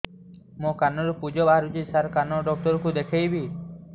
ମୋ କାନରୁ ପୁଜ ବାହାରୁଛି ସାର କାନ ଡକ୍ଟର କୁ ଦେଖାଇବି